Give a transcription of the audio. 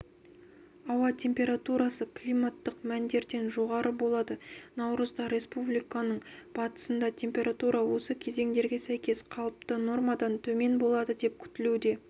ауа температурасы климаттық мәндерден жоғары болады наурызда республиканың батысында температура осы кезеңдерге сәйкес қалыпты нормадан төмен болады деп күтілуде